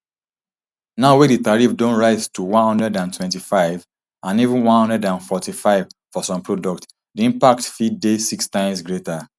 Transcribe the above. now wey di tariff don rise to one hundred and twenty-five and even one hundred and forty-five for some products di impact fit dey six times greater